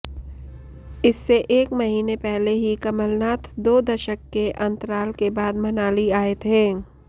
इससे एक महीने पहले ही कमलनाथ दो दशंक के अंतराल के बाद मनाली आए थे